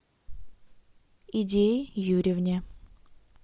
идее юрьевне